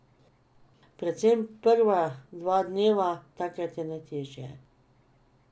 Predvsem prva dva dneva, takrat je najtežje.